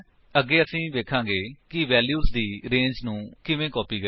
ਅੱਗੇ ਅਸੀ ਵੇਖਾਂਗੇ ਕਿ ਵੈਲਿਊਜ ਦੀ ਰੇੰਜ ਨੂੰ ਕਿਵੇਂ ਕਾਪੀ ਕਰੀਏ